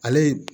Ale ye